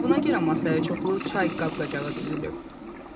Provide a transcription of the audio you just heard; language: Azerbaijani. Bəlkə buna görə masaya çoxlu çay qab-qacağı düzülüb.